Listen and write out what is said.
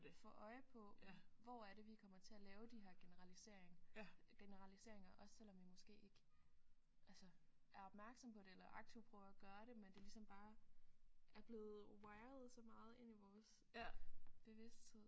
Få øje på hvor er det vi kommer til at lave de her generalisering generaliseringer også selvom vi måske ikke altså er opmærksomme på det eller aktivt prøver at gøre det men det ligesom bare er blevet wired så meget ind i vores bevidsthed